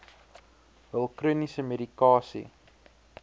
hul chroniese medikasie